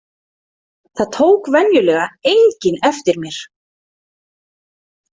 Það tók venjulega enginn eftir mér.